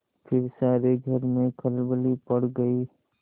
फिर सारे घर में खलबली पड़ गयी